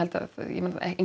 að ég meina